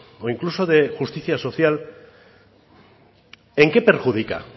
o incluso de justicia social en qué perjudica